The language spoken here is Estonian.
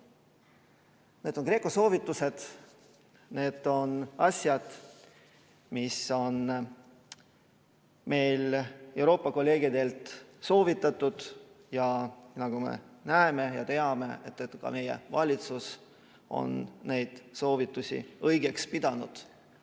Need on GRECO soovitused, need on asjad, mida on meile Euroopa kolleegid soovitanud, ja nagu me näeme ja teame, on ka meie valitsus neid soovitusi õigeks pidanud.